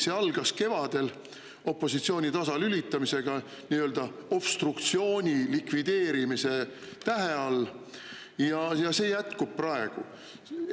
See algas kevadel opositsiooni tasalülitamisega nii-öelda obstruktsiooni likvideerimise tähe all ja see jätkub praegu.